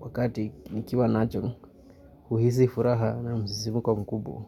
wakati nikiwa nacho huhisi furaha na msisimuko mkubwa.